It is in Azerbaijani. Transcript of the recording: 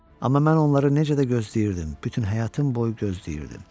Amma mən onları necə də gözləyirdim, bütün həyatım boyu gözləyirdim.